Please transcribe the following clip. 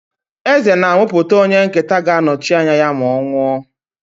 Eze na-amụpụta onye nketa ga-anọchi ya ma ọ nwụọ.